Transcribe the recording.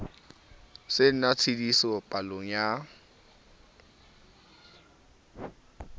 se na tshitiso palong ya